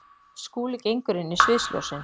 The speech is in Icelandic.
Skúli gengur inn í sviðsljósin.